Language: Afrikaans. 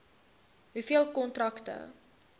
hoeveel kontrakte